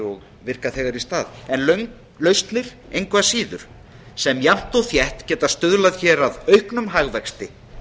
og virka þegar í stað en lausnir engu að síður sem jafnt og þétt geta stuðlað að auknum hagvexti